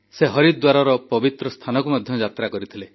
ସେ ହରିଦ୍ୱାରର ପବିତ୍ର ସ୍ଥାନକୁ ମଧ୍ୟ ଯାତ୍ରା କରିଥିଲେ